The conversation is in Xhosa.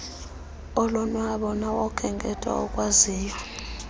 olonwabo nawokhenketho akwaziyo